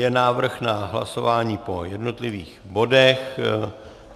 Je návrh na hlasování po jednotlivých bodech.